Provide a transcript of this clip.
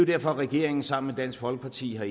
derfor regeringen sammen med dansk folkeparti har